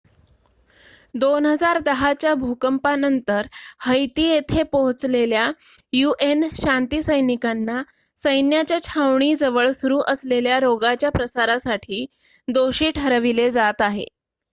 2010 च्या भूकंपानंतर हैती येथे पोहचलेल्या un शांती सैनिकांना सैन्याच्या छावणीजवळ सुरू झालेल्या रोगाच्या प्रसारासाठी दोषी ठरविले जात आहे